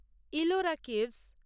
Ellora caves